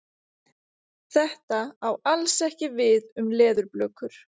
Þetta á alls ekki við um leðurblökur.